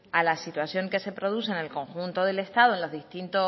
a la situación que se produce en el conjunto del estado en